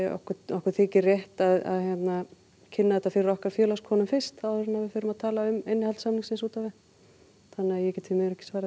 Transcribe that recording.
okkur þykir rétt að kynna þetta fyrir okkar fyrst áður en við förum að tala um innihald samningsins út á við þannig ég get því miður ekki svarað